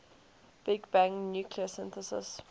big bang nucleosynthesis